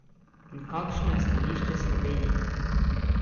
In kakšno je stališče Slovenije?